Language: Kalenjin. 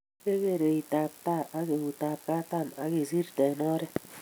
kegeer eitab tai ago eutab katam akisirte eng oret